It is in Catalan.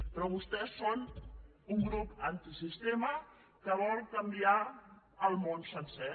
però vostès són un grup antisistema que vol canviar el món sencer